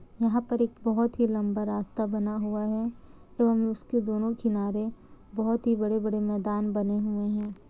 यहा पर एक बहुत ही लंबा रास्ता बना हुआ है एवं उसके दोनों किनारे बहुत ही बड़े-बड़े मेदान बने हुए है।